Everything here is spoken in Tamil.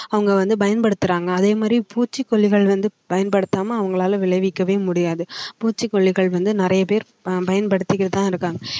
அங்க வந்து பயன்படுத்துறாங்க அதே மாதிரி பூச்சிக்கொல்லிகள் வந்து பயன்படுத்தாம அவங்களால விளைவிக்கவே முடியாது பூச்சிக்கொல்லிகள் வந்து நிறைய பேர் பயன்படுத்துக்கிட்டு தான் இருக்காங்க